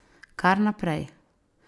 Kar naprej!